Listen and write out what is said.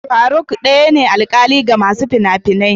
Faruk daya ne alƙali ga masu fina-finia.